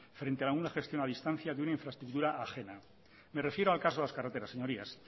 frente a una gestión a distancia de una infraestructura ajena me refiero al caso de las carreteras señorías